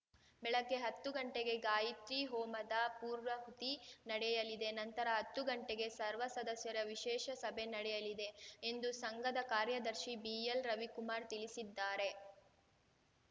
ಬೆಳಗ್ಗೆ ಹತ್ತು ಗಂಟೆಗೆ ಗಾಯಿತ್ರಿ ಹೋಮದ ಪೂರ್ವಾಹುತಿ ನಡೆಯಲಿದೆ ನಂತರ ಹತ್ತು ಗಂಟೆಗೆ ಸರ್ವಸದಸ್ಯರ ವಿಶೇಷ ಸಭೆ ನಡೆಯಲಿದೆ ಎಂದು ಸಂಘದ ಕಾರ್ಯದರ್ಶಿ ಬಿಎಲ್‌ ರವಿಕುಮಾರ್‌ ತಿಳಿಸಿದ್ದಾರೆ